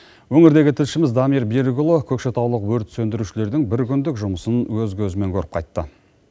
өңірдегі тілшіміз дамир берікұлы көкшетаулық өрт сөндірушілердің біркүндік жұмысын өз көзімен көріп қайтты